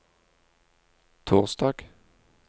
torsdag